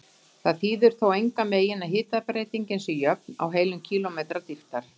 Það þýðir þó engan veginn að hitabreytingin sé jöfn á heilum kílómetra dýptar.